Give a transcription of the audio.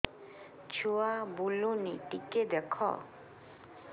ଛୁଆ ବୁଲୁନି ଟିକେ ଦେଖ